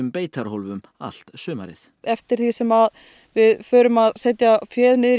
beitarhólfum allt sumarið eftir því sem við förum að setja féð niður í